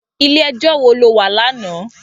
Ilé èjò wó ló wá làná?